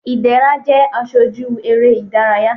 ìdẹrá jẹ aṣoju eré idàráyá